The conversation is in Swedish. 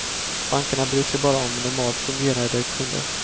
Bankerna bryr sig bara om normalt fungerande kunder.